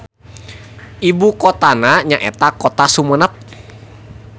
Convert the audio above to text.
Ibukotana nyaeta Kota Sumenep.